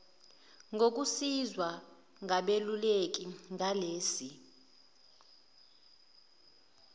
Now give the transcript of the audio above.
ngokusizwa ngabeluleki ngalesi